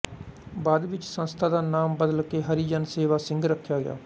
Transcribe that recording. ਬਾਅਦ ਵਿੱਚ ਸੰਸਥਾ ਦਾ ਨਾਮ ਬਦਲ ਕੇ ਹਰੀਜਨ ਸੇਵਾ ਸੰਘ ਰੱਖਿਆ ਗਿਆ